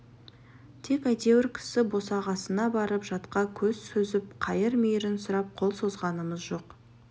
тек әйтеуір кісі босағасына барып жатқа көз сүзіп қайыр-мейірін сұрап қол созғанымыз жоқ